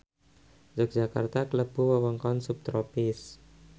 Yogyakarta klebu wewengkon subtropis